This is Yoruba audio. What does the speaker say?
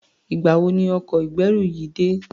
Ìgbà wo ni ọkọ̀ ìgbẹ́rù yìí dé?